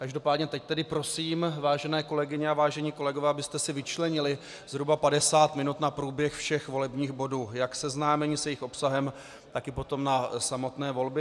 Každopádně teď tedy prosím, vážené kolegyně a vážení kolegové, abyste si vyčlenili zhruba 50 minut na průběh všech volebních bodů, jak seznámení s jejich obsahem, tak i potom na samotné volby.